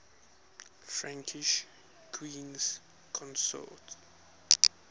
frankish queens consort